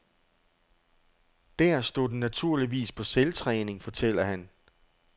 Der stod den naturligvis på selvtræning, fortæller han.